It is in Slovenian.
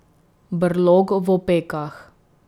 Brlog v opekah.